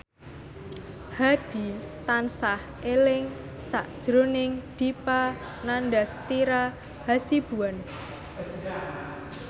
Hadi tansah eling sakjroning Dipa Nandastyra Hasibuan